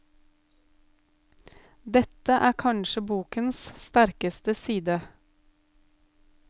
Dette er kanskje bokens sterkeste side.